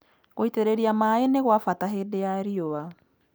Gũitĩrĩria maaĩ nĩgwabata hĩndĩ ya riũa